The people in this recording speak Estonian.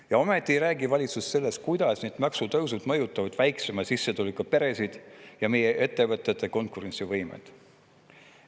Ja ikkagi ei räägi valitsus sellest, kuidas need maksutõusud mõjutavad väiksema sissetulekuga peresid ja meie ettevõtete konkurentsivõimet.